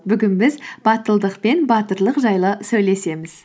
бүгін біз батылдық пен батырлық жайлы сөйлесеміз